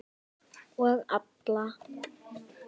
Og alla.